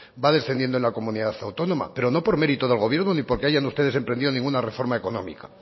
va descendiendo en la comunidad autónoma pero no por mérito del gobierno ni porque hayan ustedes emprendido ninguna reforma económica